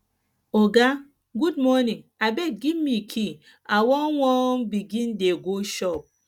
oga good morning abeg give me key i wan wan begin dey go shop